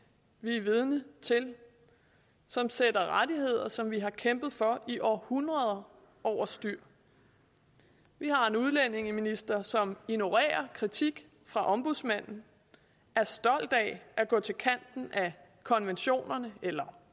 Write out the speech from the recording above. vi er vidner til som sætter rettigheder som vi har kæmpet for i århundreder overstyr vi har en udlændingeminister som ignorerer kritik fra ombudsmanden er stolt af at gå til kanten af konventionerne eller